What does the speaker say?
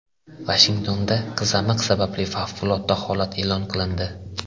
Vashingtonda qizamiq sababli favqulodda holat e’lon qilindi.